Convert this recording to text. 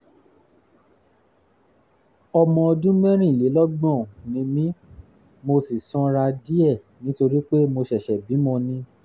ọmọ ọdún mẹ́rìnlélọ́gbọ̀n [34] ni mí mo ṣì sanra díẹ̀ nítorí pé mo ṣẹ̀ṣẹ̀ bímọ ni